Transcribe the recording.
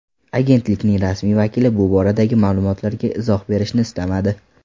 Agentlikning rasmiy vakili bu boradagi ma’lumotlarga izoh berishni istamadi.